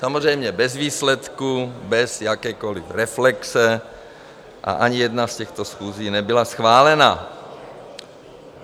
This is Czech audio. Samozřejmě bez výsledku, bez jakékoliv reflexe, a ani jedna z těchto schůzí nebyla schválena.